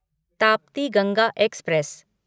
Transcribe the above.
Tapti Ganga express